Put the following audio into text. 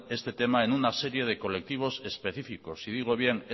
este tema en una serie de colectivos específicos y digo bien